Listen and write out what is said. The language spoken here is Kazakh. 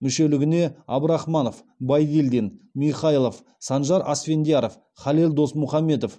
мүшелігіне абдрахманов байдильдин михайлов санжар асфендияров халел досмұхамедов